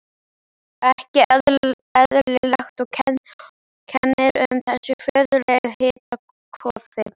Ekki eðlilegt, og kennir um þessu furðulega hitakófi.